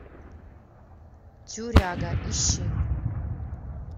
тюряга ищи